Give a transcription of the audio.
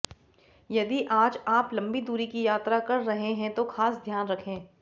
यदि आज आप लंबी दूरी की यात्रा कर रहे हैं तो खास ध्यान रखें